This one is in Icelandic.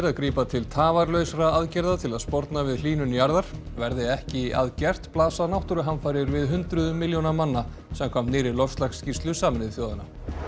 grípa til tafarlausra aðgerða til að sporna við hlýnun jarðar verði ekki að gert blasa náttúruhamfarir við hundruðum milljóna manna samkvæmt nýrri loftslagsskýrslu Sameinuðu þjóðanna